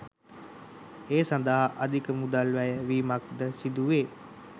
ඒ සඳහා අධික මුදල් වැය වීමක් ද සිදු වේ.